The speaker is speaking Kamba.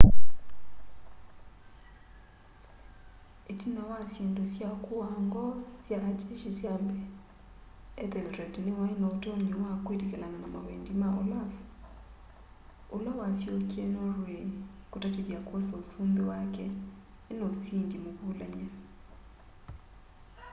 itina wa syindu sya kuaa ngoo sya a jeshi sya mbee ethelred niwai na utonyi wa kwitikilana na mawendi ma olaf ula wasyokie norway kutatithya kwosa usumbi wake ena usindi muvulany'e